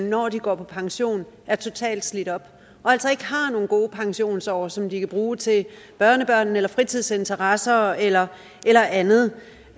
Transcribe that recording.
når de går på pension er totalt slidt op og altså ikke har nogen gode pensionsår som de kan bruge til børnebørnene fritidsinteresser eller eller andet